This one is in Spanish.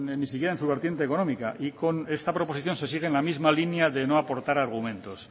ni siquiera en su vertiente económica y con esta proposición se sigue en la misma línea de no aportar argumentos